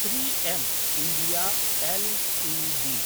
three M India Ltd